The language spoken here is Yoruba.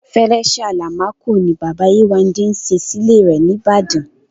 Fẹrẹ́ṣẹ́ Àlámakọ̀ ni Bàbá Yéwándé sẹ́ sí ilẹ̀ rẹ̀ ní Ìbàdàn.